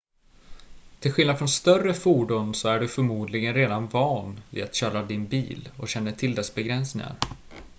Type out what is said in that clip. till skillnad från större fordon så är du förmodligen redan van vid att köra din bil och känner till dess begränsningar